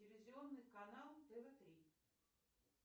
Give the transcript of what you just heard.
телевизионный канал тв три